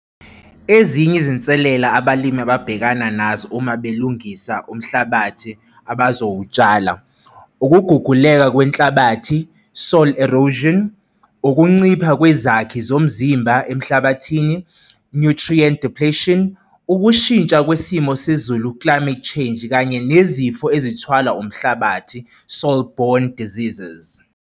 Ezinye izinselela abalimi ababhekana nazo uma belungisa umhlabathi abazowutshala, ukuguguleka kwenhlabathi, soil erosion, ukuncipha kwezakhi zomzimba emhlabathini, nutrient depletion, ukushintsha kwesimo sezulu, climate change, kanye nezifo ezithwalwa umhlabathi, soil-borne diseases.